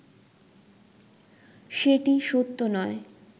সেটি সত্য নয়